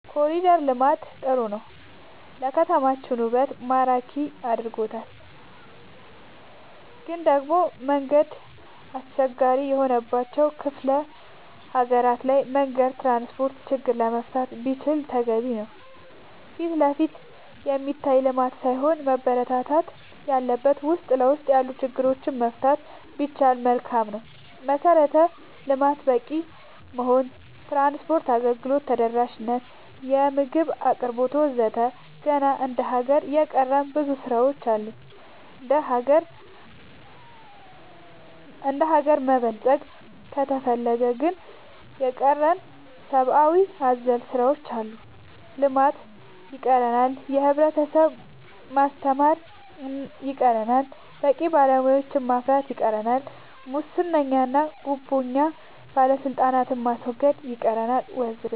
ኮሊደር ልማት ጥሩ ነው ለከተማችን ውበት ማራኪ አርጎታል ግን ደሞ መንገድ አስቸጋሪ የሆነባቸው ክፍለ ሀገራት ላይ መንገድ ትራንስፖርት ችግር መፈታት ቢችል ተገቢ ነው ፊትለፊት የሚታይ ልማት ሳይሆን መበረታታት ያለበት ውስጥ ለውስጥ ያሉ ችግሮች መፍታት ቢቻል መልካም ነው መሰረተ ልማት በቂ መሆን ትራንስፓርት አገልግሎት ተደራሽ ነት የምግብ አቅርቦት ወዘተ ገና እንደ ሀገር የቀረን ብዙ ስራ ዎች አሉ እንደሀገር መበልፀግ ከፈለግን የቀረን ሰባአዊ አዘል ስራዎች አሉ ልማት ይቀረናል የህብረተሰብ ማስተማር ይቀረናል በቂ ባለሙያ ማፍራት ይቀረናል ሙሰኛ ጉቦኛ ባለስልጣናት ማስወገድ ይቀረናል ወዘተ